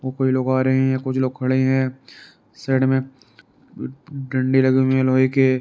कोई लोग आ रहे हैं कुछ लोग खड़े हैं साइड में डंडे लगे हुए हैं लोहे के।